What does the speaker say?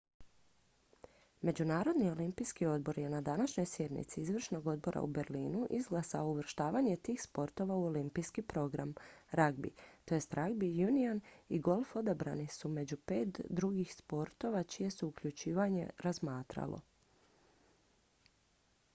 međunarodni olimpijski odbor je na današnjoj sjednici izvršnog odbora u berlinu izglasao uvrštavanje tih sportova u olimpijski program ragbi tj ragbi union i golf odabrani su među pet drugih sportova čije se uključivanje razmatralo